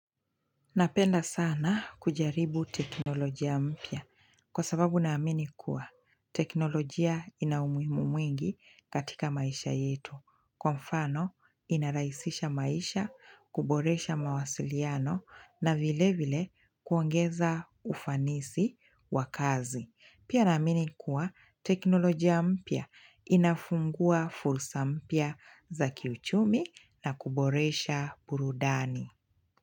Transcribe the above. Napenda sana kujaribu teknolojia mpya kwa sababu naamini kuwa teknolojia ina umuhimu mwingi katika maisha yetu. Kwa mfano, inarahisisha maisha, kuboresha mawasiliano na vile vile kuongeza ufanisi wa kazi. Pia naamini kuwa teknolojia mpya inafungua fursa mpya za kiuchumi na kuboresha burudani.